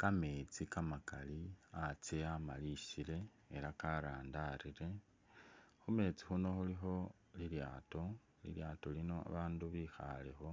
Kameetsi kamakali antsye amalisile ela karandarire, khu meetsi khuno khulikho lilyaato, lilyaato lino babaandu bikhaalekho,